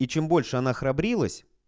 и чем больше она храбрилась